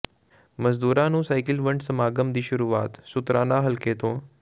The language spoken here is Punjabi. ਮਜ਼ਦੂਰਾਂ ਨੂੰ ਸਾਈਕਲ ਵੰਡ ਸਮਾਗਮ ਦੀ ਸ਼ੁਰੂਆਤ ਸ਼ੁਤਰਾਣਾ ਹਲਕੇ ਤੋਂ